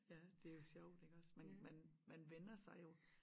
Ja det jo sjovt iggås man man man vænner sig jo